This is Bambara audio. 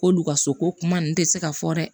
K'olu ka so ko kuma ninnu tɛ se ka fɔ dɛ